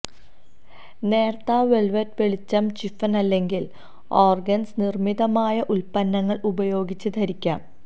നേർത്ത വെൽവെറ്റ് വെളിച്ചം ചിഫൺ അല്ലെങ്കിൽ ഓർഗൻസ നിർമ്മിതമായ ഉൽപ്പന്നങ്ങൾ ഉപയോഗിച്ച് ധരിക്കാം